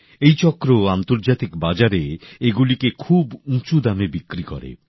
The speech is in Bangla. এই চক্র আন্তর্জাতিক বাজারে এগুলিকে খুব উঁচু দামে বিক্রি করে